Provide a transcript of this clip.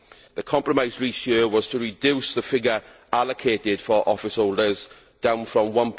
The compromise reached here was to reduce the figure allocated for office holders down from EUR